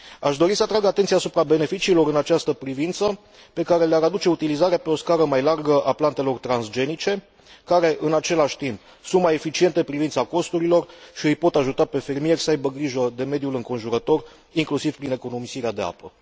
Aș dori să atrag atenția asupra beneficiilor în această privință pe care le ar aduce utilizarea pe o scară mai largă a plantelor transgenice care, în același timp, sunt mai eficiente în privința costurilor și îi pot ajuta pe fermieri să aibă grijă de mediul înconjurător, inclusiv prin economisirea de apă.